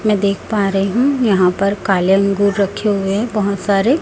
मैं देख पा रही हूं यहां पर काले अंगूर रखे हुए हैं बहोत सारे --